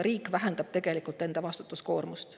Riik tegelikult vähendab enda vastutuskoormust.